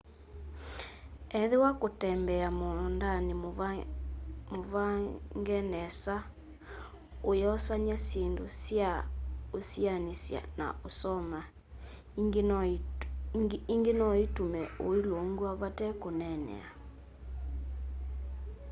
ethĩwa kũtembea mũũndanĩ mũvange nesa ũyosanya syĩndũ sya ũsianĩsya na ũsoma ingĩ no itume ũlũngw'a vate kũneenea